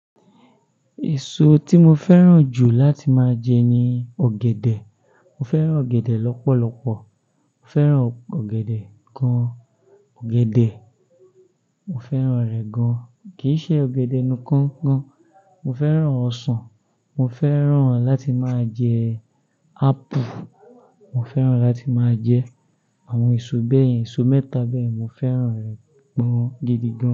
Èso tí mo fẹ́ràn jù láti máa jẹ ni ọ̀gẹ̀dẹ̀. Mo fẹ́ràn ọ̀gẹ̀dẹ̀ lọ́pọ̀lọpọ̀. Mo fẹ́ràn ọ̀gẹ̀dẹ̀ gan. Ọ̀gẹ̀dẹ̀, mo fẹ́ràn rẹ̀ gan, kì í ṣe ọ̀gẹ̀dẹ̀ nikan gan. Mo fẹ́ràn ọsàn, mo fẹ́ràn láti máa jẹ apple. Mo fẹ́ràn láti máa jẹ àwọn èso bẹ́yẹ̀n, èso mẹ́ta bẹ́yẹ̀n, mo fẹ́ràn rẹ̀ gan gidigan.